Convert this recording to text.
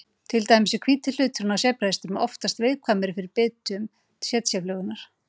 Til dæmis er hvíti hlutinn á sebrahestum oftast viðkvæmari fyrir bitum tsetseflugunnar.